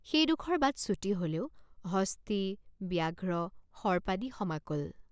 সেইডোখৰ বাট চুটি হলেও হস্তী ব্যাঘ্ৰ সৰ্পাদি সমাকুল।